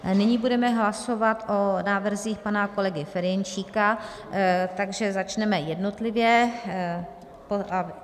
Nyní budeme hlasovat o návrzích pana kolegy Ferjenčíka, takže začneme jednotlivě.